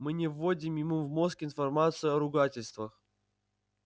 мы не вводим ему в мозг информацию о ругательствах